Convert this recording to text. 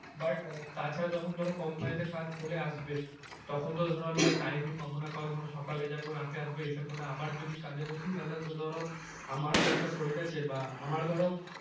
but তাছাড়া যখন ধরো কোম্পানিতে কাজ চলে আসবে তখন তো ধরো আমি time ই পাবো না সকালে যাব রাতে আসবো এসে পরে আবার যদি কাজে বসি তাহলে তো ধরো আমারও তো একটা শরীর আছে বা আমারও ধরো।